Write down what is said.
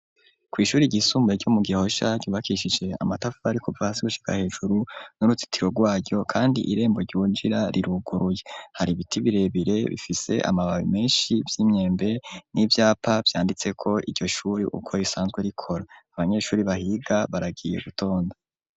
kw’ishure ry'isumbuye ryo mu gihosha ryubakishije amatafari kuva hasi gushika hejuru n'urutsitiro rwaryo kandi irembo ryinjira riruguruye hari ibiti birebire bifise amababi menshi vy'imyembe n'ivyapa vyanditseko iryo shuri uko risanzwe rikora, abanyeshuri bahiga baragiye gutonda.